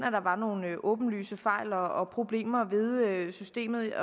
at der var nogle åbenlyse fejl og problemer ved systemet jeg